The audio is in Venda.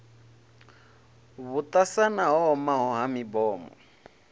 vhuṱasana ho omaho ha mibomo